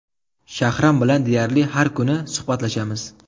Shahram bilan deyarli har kuni suhbatlashamiz.